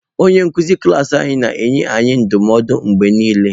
Onye nkuzi klas anyị na-enye anyị ndụmọdụ mgbe niile.